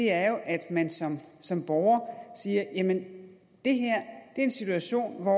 er jo at man som borger siger jamen det her er en situation hvor